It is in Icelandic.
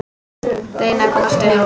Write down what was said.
Reyna að komast upp.